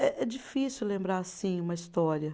É é difícil lembrar, assim, uma história.